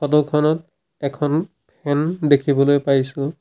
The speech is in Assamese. ফটো খনত এখন ফেন দেখিবলৈ পাইছোঁ।